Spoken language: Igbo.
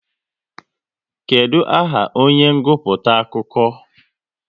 Kedụ aha onye nguputa akụkọ?